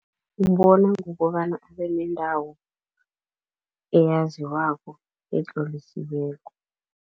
Ngokobana abenendawo eyaziwako etlolisiweko.